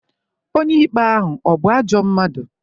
Onye ikpe ahụ ọ̀ bụ ajọ mmadụ?